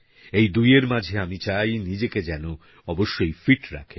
এই দুইয়ের মাঝে আমি চাই নিজেকেযেন অবশ্যই ফিট রাখেন